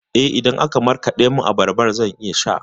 Eh, idan aka markaɗa min abarba zan iya sha.